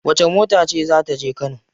Wacce mota ce za ta je kano?